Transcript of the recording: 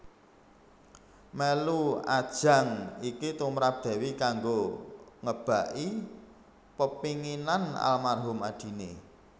Mèlu ajang iki tumrap Dewi kanggo ngebaki pepénginan almarhum adiné